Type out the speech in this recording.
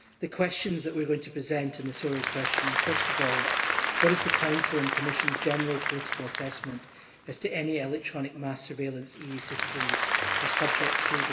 The questions that we are going to present in the oral question are first of all what is the Council's and Commissionʼs general political assessment as to any electronic mass surveillance EU citizens are subject to?